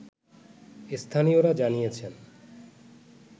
স্থানীয়রা জানিয়েছেন